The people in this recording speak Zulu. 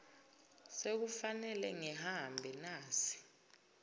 sekufanele ngihambe nasi